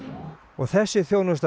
þessi þjónusta